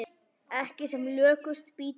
Ekki sem lökust býti það.